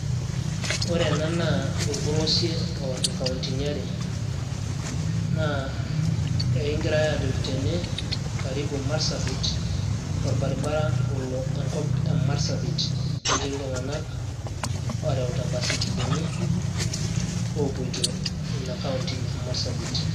ore ena naa orpolosie oworr inkauntini are naa ekingirai ajoki tene karibu marsabit orbaribara olo enkop e marsabit netii iltung'anak ooreuta imbaisikilini oopoito inakaunti e marsabit.